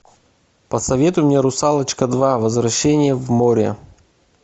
посоветуй мне русалочка два возвращение в море